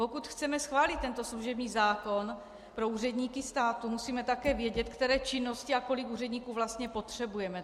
Pokud chceme schválit tento služební zákon pro úředníky státu, musíme také vědět, které činnosti a kolik úředníků vlastně potřebujeme.